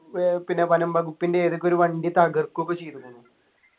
ഏർ പിന്നെ വനം വകുപ്പിൻ്റെ ഏതൊക്കെ ഒരു വണ്ടി തകർക്കും ഒക്കെ ചെയ്തുക്കുണു